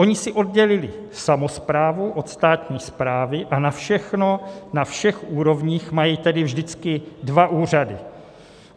Oni si oddělili samosprávu od státní správy a na všechno na všech úrovních mají tedy vždycky dva úřady.